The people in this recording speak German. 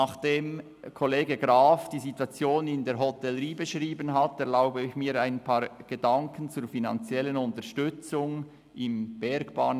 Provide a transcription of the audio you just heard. Nachdem der Kollege Graf die Situation in der Hotellerie beschrieben hat, erlaube ich mir ein paar Gedanken zur finanziellen Unterstützung im Bereich der Bergbahnen.